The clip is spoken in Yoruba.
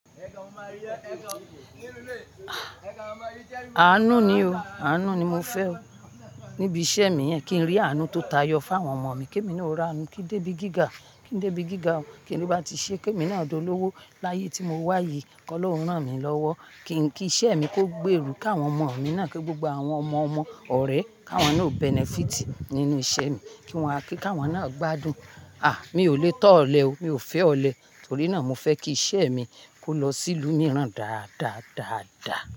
Àánú ni o, àánú ni mo fẹ́ o. Níbi iṣẹ́ mi yẹn, kí n rí àánú tó tayọ fún àwọn ọmọ mi. Kí èmi ni ò rí àánú, kí dé ibi gíga, kí dé ibi gíga o. Kíni bá ti ṣe, kí èmi náà dọ lówo láyé tí mo wà yìí kọ́ lóhùn náà mi lọ́wọ́. Kí iṣẹ́ mi kó gbé eru kàwọn ọmọ mi náà, kí gbogbo àwọn ọmọ ọmọ ọ̀rẹ́, ká wọn náà benefit nínú iṣẹ́ mi. Kí wọ́n wá, kí ká wọn náà gbádùn. À, mi ò lè tọ́ ọ̀lẹ o, mi ò fẹ́ ọ̀lẹ. Torí náà, mo fẹ́ kí iṣẹ́ mi kó lọ sí ìlú mìíràn dáadáa, dáadáa.